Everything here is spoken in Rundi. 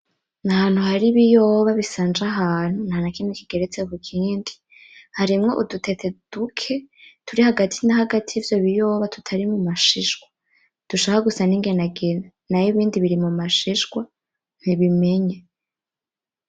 Ni ahantu hari ibiyoba bisanje ahantu ntanakimwe kigeretse kukindi, harimwo udutete duke turi hagati na hagati yivyo biyoba tutari mumashishwa dushaka gusa n'inginagina nayo ibindi biri mu mashishwa bibimenye.